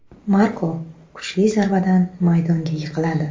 Marko kuchli zarbadan maydonga yiqiladi.